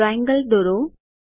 triangle દોરો